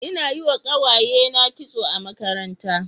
Ina yi wa kawayena kitso a makaranta.